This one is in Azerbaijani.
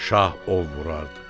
Şah ov vurardı.